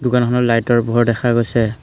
দোকানখনত লাইটৰ পোহৰ দেখা গৈছে।